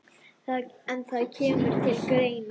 En það kemur til greina.